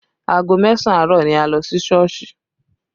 Aago mẹ́sàn àárọ̀ ni a lọ sí Sọ́ọ̀sì